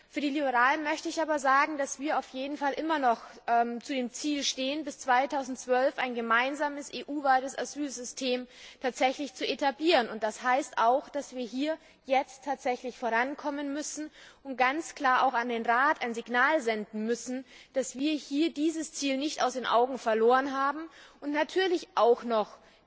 Für die Liberalen möchte ich aber sagen, dass wir auf jeden Fall immer noch zu dem Ziel stehen, bis 2012 ein gemeinsames, EU weites Asylsystem zu etablieren, und das heißt auch, dass wir jetzt tatsächlich vorankommen müssen und auch an den Rat ein ganz klares Signal senden müssen, dass wir dieses Ziel nicht aus den Augen verloren haben und natürlich noch